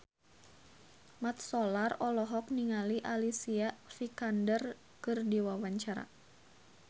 Mat Solar olohok ningali Alicia Vikander keur diwawancara